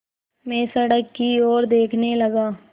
मैं सड़क की ओर देखने लगा